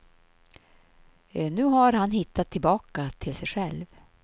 Nu har han hittat tillbaka till sig själv.